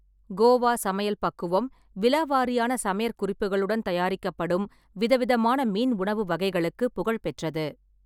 கோவா சமையல் பக்குவம் விலாவாரியான சமையற் குறிப்புகளுடன் தயாரிக்கப்படும் விதவிதமான மீன் உணவு வகைகளுக்கு புகழ்பெற்றது.